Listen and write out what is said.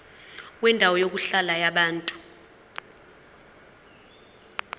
kwendawo yokuhlala yabantu